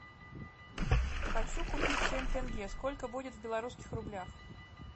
хочу купить семь тенге сколько будет в белорусских рублях